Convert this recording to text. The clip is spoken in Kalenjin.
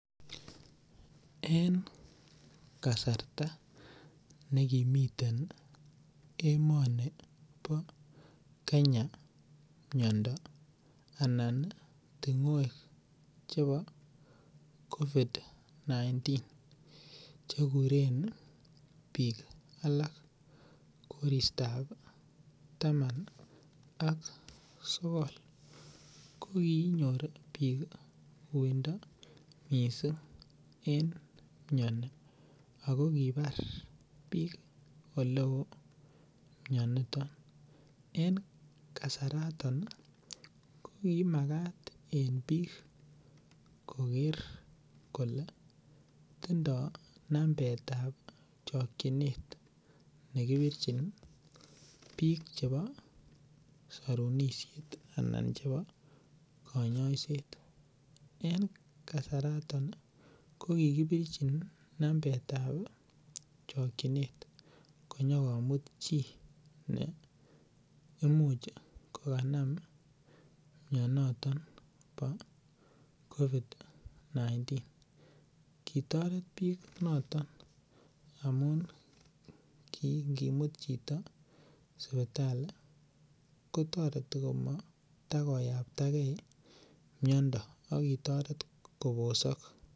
En kasarta nekimitein emoni bo Kenya miyondo anan ting'wek chebo COVID-19 chekuren biik alak koristoab taman ak sogol kokinyor biik uindo mising' eng' miyoni ako kibar biik ole oo miyoniton eng' kasaratan komakat en biik koker kole tindoi nambetab chokchinet nekipirchin biik chebo sorunishet anan chebo kanyaiset en kasaratan kokikipirchin nambetab chokchinet konyokomut chi ne imuch kokanam miyonoton bo COVID-19 kitoret biik noton amun kingimut chito sipitali kotoreti komatakoyaptagei miyondo akotoret kobosok